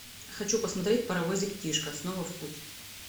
хочу посмотреть паровозик тишка снова в путь